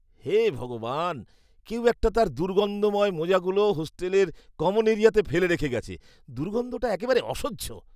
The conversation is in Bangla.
হে ভগবান, কেউ একটা তার দুর্গন্ধময় মোজাগুলো হোস্টেলের কমন এরিয়াতে ফেলে রেখে গেছে। দুর্গন্ধটা একেবারে অসহ্য!